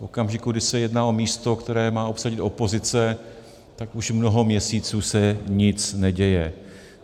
V okamžiku, kdy se jedná o místo, které má obsadit opozice, tak už mnoho měsíců se nic neděje.